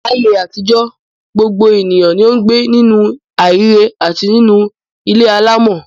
Láyé àtijọ́, gbogbo ènìyàn ni ó ń gbé nínú aheéré àti nínú ilé alámọ̀.